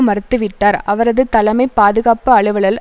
மறுத்துவிட்டார் அவரது தலைமை பாதுகாப்பு அலுவலல்